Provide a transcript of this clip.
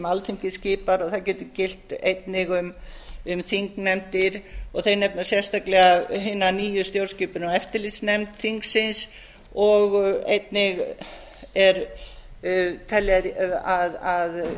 alþingi skipar og það getur einnig gilt um þingnefndir og þeir nefna sérstaklega hina nýju stjórnskipunar og eftirlitsnefnd þingsins og einnig telja þeir að